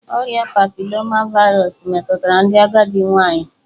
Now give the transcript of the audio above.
Ọrịa papiloma vaịrus metụtara ndị agadi nwanyị